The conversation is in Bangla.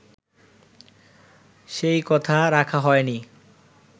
সেই কথা রাখা হয়নি